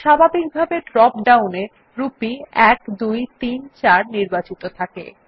স্বাভাবিকভাবে drop down এ rupee 1234 নির্বাচিত থাকে